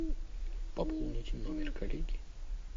пополните номер коллеги